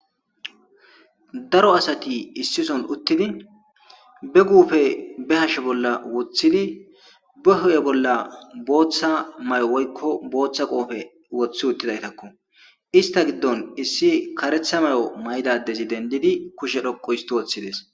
Daro asati issisan utidi ba gufe ba hashe bolla wotidi be huphe bolla botha mayo woyiko botha qophe wotidayisinne issi kare mayo mayida asi dendidi keshe dentishe dess